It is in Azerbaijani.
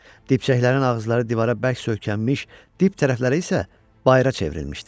Dibçəklərin ağızları divara bərk söykənmiş, dib tərəfləri isə bayra çevrilmişdi.